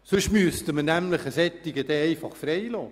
Sonst müssten wir eine solche Person dann einfach freilassen.